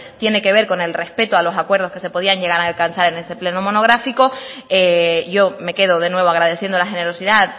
tiene que ver con el respeto a los acuerdos que se podían llegar a alcanzar en este pleno monográfico yo me quedo de nuevo agradeciendo la generosidad